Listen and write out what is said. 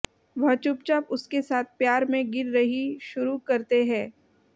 वह चुपचाप उसके साथ प्यार में गिर रही शुरू करते हैं